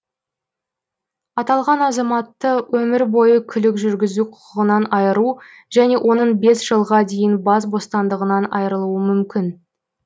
аталған азаматты өмір бойы көлік жүргізу құқығынан айыру және оның бес жылға дейін бас бостандығынан айырылуы мүмкін